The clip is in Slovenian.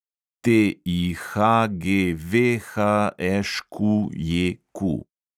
TIHGVHŠQJQ